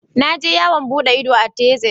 Na je yawon bude ido a tezas.